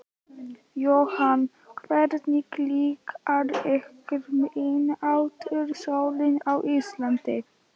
Jóhann: Hvernig líkar ykkur miðnætursólin á Íslandi?